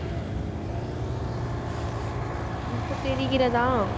இப்ப தெரிகிறதா